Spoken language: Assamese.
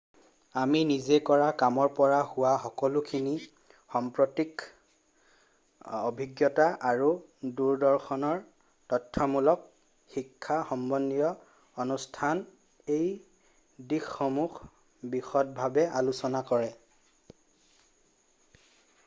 আমি নিজে কৰা কামৰ পৰা হোৱা সকলোখিনি সাম্প্ৰতিক অভিজ্ঞতা আৰু দূৰদৰ্শনৰ তথ্যমূলক শিক্ষা সম্বন্ধীয় অনুষ্ঠানে এই দিশসমূহ বিশদভাৱে আলোচনা কৰে